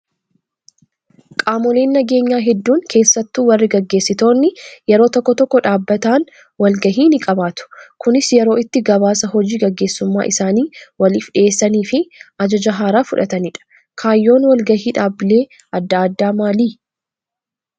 Qaamoleen nageenyaa hedduun keessattuu warri gaggeessitoonni yeroo tokko tokko dhaabbataan wal gahii ni qabaatu. Kunis yeroo itti gabaasa hojii gageessummaa isaanii waliif dhiyeessanii fi ajaja haaraa fudhatanidha. Kaayyoon wal gahii dhaabbilee adda addaa maali?